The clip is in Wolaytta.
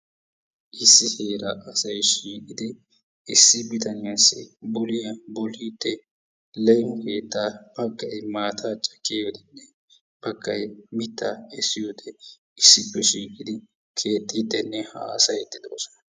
Issi heeraa asay shiiqqidi issi bitaniyaasi boliyaa boliidi leefo keettaa baggay maataa caakkiyoode baggay mittaa kessiyoode issippe shiiqidi keexxidinne hasaayiidi de"oosona.